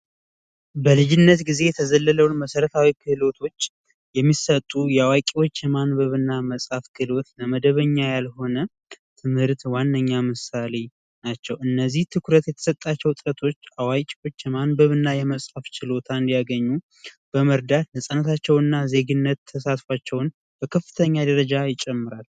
በልጅነት ጊዜ የተዘለለውን መሠረታዊ እውቀቶች የሚሰጡ የአዋቂዎች ትምህርት መጽሐፍና ማንበብ ትምህርት መደበኛ ያልሆነ ዋነኛ ምሳሌ ናቸው እነዚህ ትኩረት ያልተሰጣቸው እውቀቶች የመጽሃፍ እና ማንበብ ችሎታ እንዲያገኙ በማድረግ ነጻነታቸውና የዜግነት ተሳትፏቸው በከፍተኛ ሁኔታ ይጨምራል።